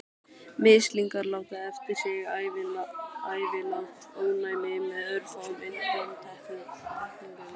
Mislingar láta eftir sig ævilangt ónæmi með örfáum undantekningum.